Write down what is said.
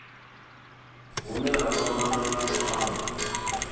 hune ha kwamana na luambo